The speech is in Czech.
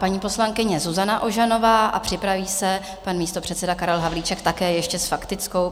Paní poslankyně Zuzana Ožanová a připraví se pan místopředseda Karel Havlíček, také ještě s faktickou.